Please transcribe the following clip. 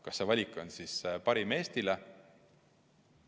Kas see valik on Eestile parim?